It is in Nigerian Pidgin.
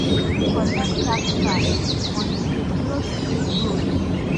Government sabi collect tax fast, but e dey slow to fix road.